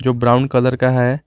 जो brown colour का है।